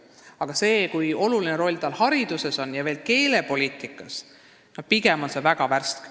See arusaam, kui oluline roll on tal hariduses ja eriti keelepoliitikas, on pigem väga värske.